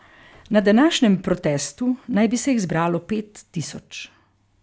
Na današnjem protestu naj bi se jih zbralo pet tisoč.